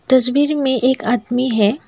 तस्वीर में एक आदमी है।